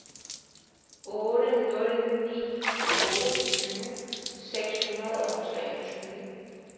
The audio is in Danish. otte nul ni otte tyve seks hundrede og treogtyve